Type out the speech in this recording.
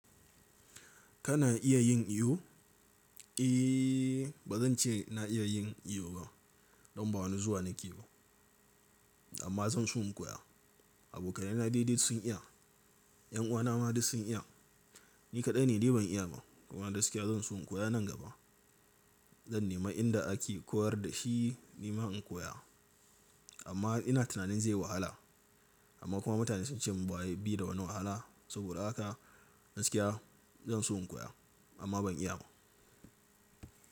Kana iya yin iyo? Eh, ba zan ce na iya yin iyo ba don ba wani zuwa nake ba. Amma zan so in koya. Abokane na dai sun iya. 'Yan uwana ma duk sun iya. Ni kaɗai ne dai ban iya ba. Kuma gaskiya zan so in koya nan gaba. Zan nema inda ake koyar da shi, nima in koya. Amma ina tunanin zai wahala. Amma kuma mutane sun ce mun bai da wani wahala. Saboda haka gaskiya zan so in koya amma ban iya ba.